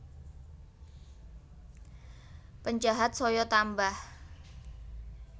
Penjahat saya tambah